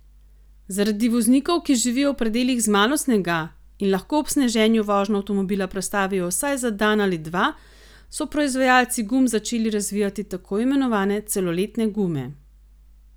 Zaradi voznikov, ki živijo v predelih z malo snega in lahko ob sneženju vožnjo avtomobila prestavijo vsaj za dan ali dva, so proizvajalci gum začeli razvijati tako imenovane celoletne gume.